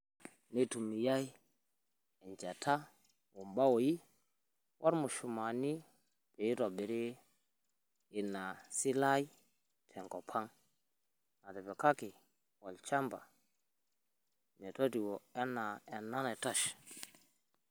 Neitumiyaai enchata, ombaaoi, ormushumaani pee itobiri ina silaai tenkop aang' natipikaki olchamba metotowuo enaa ena naitashe.